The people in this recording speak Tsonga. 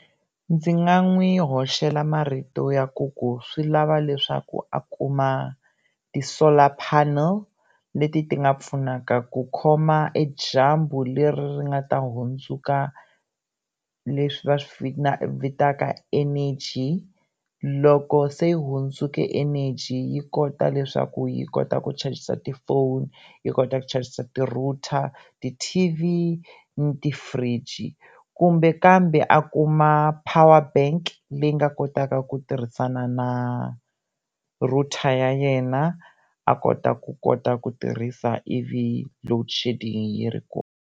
Ndzi nga n'wi hoxela marito yaku ku swi lava leswaku a kuma ti-solar panel leti ti nga pfunaka ku khoma e dyambu leri ri nga ta hundzuka leswi va swi vitaka eneji loko se hundzeke eneji yi kota leswaku yi kota ku chajisa ti-phone yi kota ku chajisa ti-router, ti T_V na ti-fridge, kumbe kambe a kuma power bank leyi nga kotaka ku tirhisana na router ya yena a kota ku kota ku tirhisa ivi loadshedding yi ri kona.